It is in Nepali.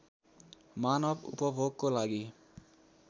मानव उपभोगको लागि